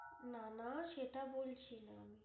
না না সেটা বলছিনা আমি।